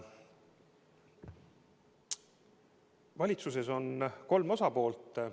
Valitsuses on kolm osapoolt.